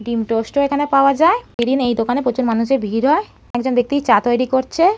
ডিম টোস্ট এখানে পাওয়া যায়। ইভেন দিন এই দোকানে প্রচুর মানুষের ভিড় হয় একজন ব্যাক্তি চা তৈরি করছে।